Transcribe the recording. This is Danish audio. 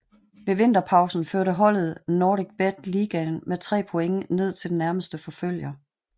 Ved vinterpausen førte holdet NordicBet Ligaen med tre point ned til den nærmeste forfølger